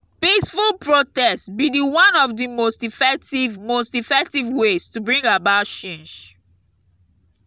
peaceful protest be di one of di most effective most effective ways to bring about change.